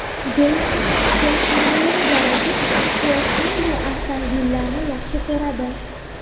Jeyson Stetxemning garaji: Aktyor qanday avtomobillarni yaxshi ko‘radi?